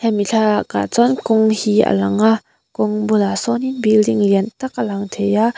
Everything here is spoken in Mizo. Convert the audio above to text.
hemi thlalak ah chuan kawng hi a lang a kawng bulah sawnin building lian tak a lang thei a.